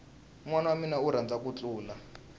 nwana wamina u rhandza ku thlula